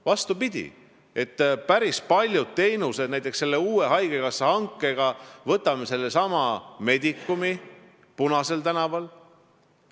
Vastupidi, võtame sellesama Medicumi Punasel tänaval.